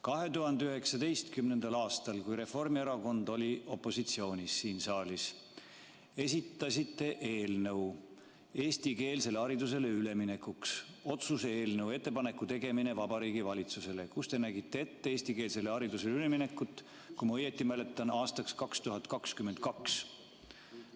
2019. aastal, kui Reformierakond oli siin saalis opositsioonis, esitasite otsuse eelnõu eestikeelsele haridusele üleminekuks ja nägite selles ette eestikeelsele haridusele ülemineku, kui ma õigesti mäletan, aastaks 2022.